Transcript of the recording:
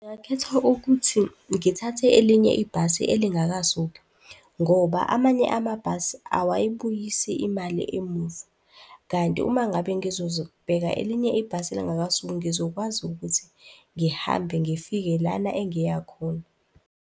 Ngingakhetha ukuthi ngithathe elinye ibhasi elingakasuki ngoba amanye amabhasi awayibuyisi imali emuva, kanti uma ngabe elinye ibhasi elingakasuki, ngizokwazi ukuthi ngihambe ngifike lana engiya khona.